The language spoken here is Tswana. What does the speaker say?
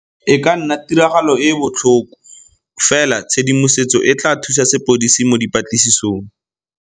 E ka nna tiragalo e e botlhoko, fela tshedimosetso e tla thusa sepodisi mo dipatlisisong.